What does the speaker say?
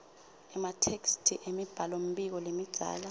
ematheksthi emibhalombiko lemidzana